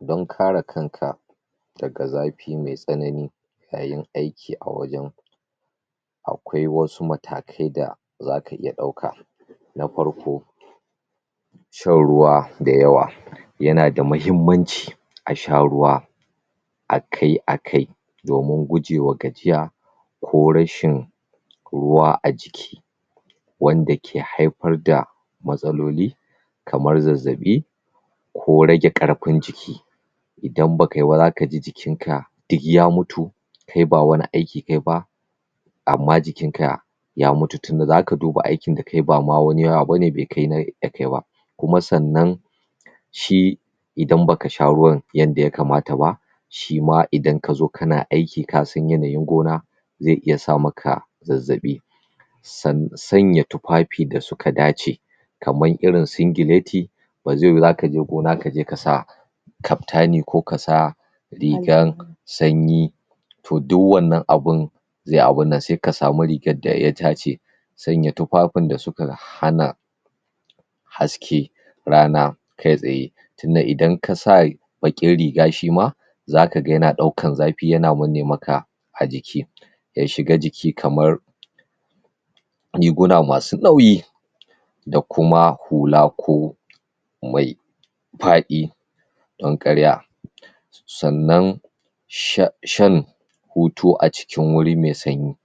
Don kare kanka daga zafi me tsanani yayin aiki a wajen akwai wasu matakai da zaka iya dauka na farko shan ruwa da yawa yana da mahimmanci a sha ruwa akai akai domin gujewa gajiya ko rashin ruwa a jiki wanda ke haifar da matsaloli kamar zazzabi ko rage karfin jiki idan bakayi ba zaka ji jikinka duk ya mutu kai ba wani aiki kayi ba amma jikinka ya mutu tunda zaka duba aikin da kayi ba ma wani yawa bane be kai nai yakai ba kuma sannan shi idan baka sha ruwan yadda ya kamata ba shi ma idan kazo kana aiki kasan yanayin gona zai iya sa maka zazzabi um sanya tufafi da suka dace kamar irin singileti ba zai yiwu zaka je gona kaje kasa kaftani ko kasa rigan sanyi to duk wannan abun zai abunnan sai ka samu rigan da ya dace sanya tufafin da suka hana haske rana kai tsaye tunda idan kasa baqin riga shima zaka ga yana daukan zafi yana manne maka a jiki ya shiga jiki kamar riguna masu nauyi da kuma hula ko mai fadi don kar ya sannan shan hutu a cikin wuri me sanyi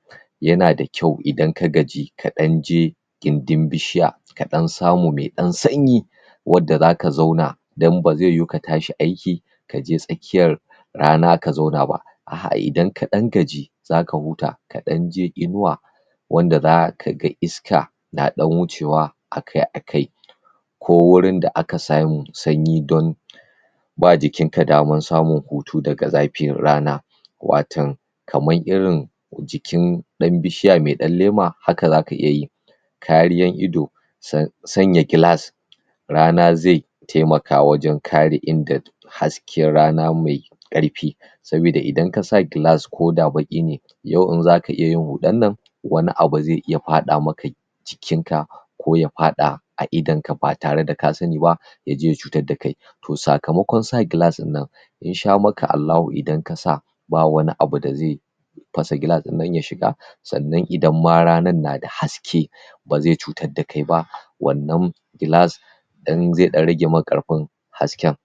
yana da kyau idan ka gaji ka danje gindin bishiya ka dan samu me dan sanyi wanda zaka zauna dan ba zai yiwu ka tashi aiki kaje tsakiyan kaje tsakiyan rana ka zauna ba a'ah idan ka dan gaji zaka huta ka danje inuwa wanda zaka ga iska na dan wucewa akai akai ko wurin da aka samu sanyi don ba jikinka daman samun hutu daga zafin rana waton kaman irin jikin dan bishiya me dan lema haka zaka iyayi kariyan ido um sanya gilas rana zai taimaka wajen kare ingancin hasken rana me karfi sabida idan kasa gilas ko da baki ne yau in zaka iya yin hudan nan wani abu zai iya fada maka jikinka ko ya fada a idon ka ba tare da ka sani ba yaje ya cutar da kai to sakamakon sa gilas dinnan in sha maka Allahu idan kasa ba wani abu da zai fasa gilas dinnan ya shiga sannan idan ma rannan na da haske ba zai cutar da kai ba wannan gilas zai dan rage maka karfin hasken.